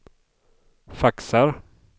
faxar